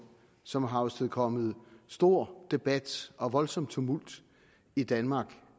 som har afstedkommet stor debat og voldsom tumult i danmark